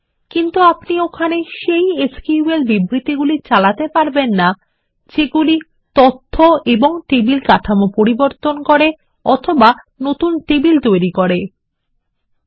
কিন্তু আপনি ওখানে সেই এসকিউএল স্টেটমেন্টগুলি চালাতে পারবেন না যেগুলি তথ্য ও টেবিল কাঠামো পরিবর্তন করে বা নতুন টেবিল তৈরি করবে